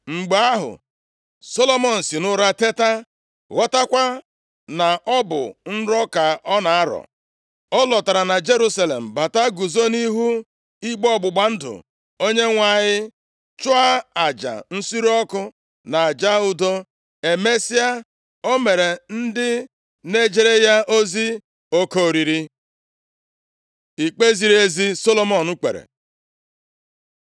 Mgbe ahụ, Solomọn si nʼụra teta, ghọtakwa na ọ bụ nrọ ka ọ na-arọ. Ọ lọtara na Jerusalem bata guzo nʼihu igbe ọgbụgba ndụ Onyenwe anyị, chụọ aja nsure ọkụ na aja udo. Emesịa, o meere ndị na-ejere ya ozi oke oriri. Ikpe ziri ezi Solomọn kpere